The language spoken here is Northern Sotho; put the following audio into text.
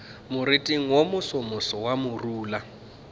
moriting wo mosomoso wa morula